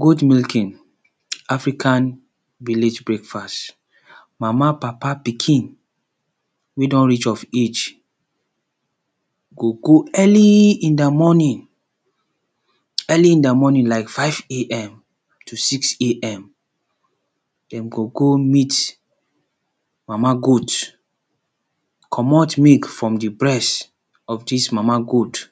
Goat milking, Africa village breakfast, mama, papa, pikin wey don reach of age go go early in di morning, early in di morning like five AM to six AM, dem go go meet mama goat comot milk from di breast of dis mama goat.